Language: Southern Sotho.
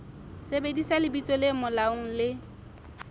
sebedisa lebitso le molaong le